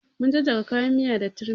Mun jajjaga kayan miya da turmi